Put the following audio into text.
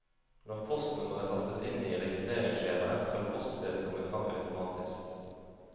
Når postnummeret tastes inn i registreringsskjemaet, skal poststedet komme fram automatisk.